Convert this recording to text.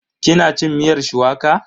Ki na cin miyar shuwaka?